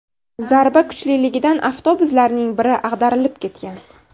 Zarba kuchliligidan avtobuslarning biri ag‘darilib ketgan.